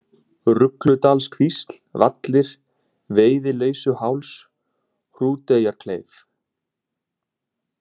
Rugludalskvísl, Vallir, Veiðileysuháls, Hrúteyjarkleif